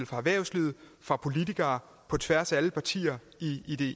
fra erhvervslivet og fra politikere på tværs af alle partier i